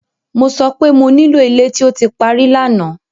Mo sọ pé mo nílò ilé tó ti parí lánàá!